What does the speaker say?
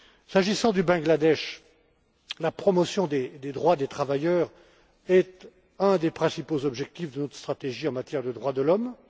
S'agissant du Bangladesh, la promotion des droits des travailleurs est un des principaux objectifs de notre stratégie en matière de droits de l'homme.